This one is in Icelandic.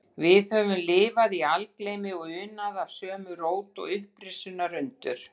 Við höfum lifað algleymi og unað af sömu rót og upprisunnar undur